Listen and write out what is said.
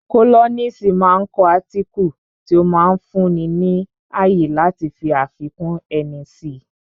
Kólọ́nisi máa ń kọ átíkù tí ó máa ń fún ni ní ààyè láti fi àfikún ẹni si